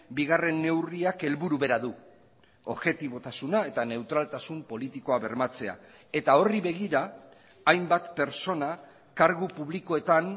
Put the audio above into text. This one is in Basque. bigarren neurriak helburu bera du objetibotasuna eta neutraltasun politikoa bermatzea eta horri begira hainbat pertsona kargu publikoetan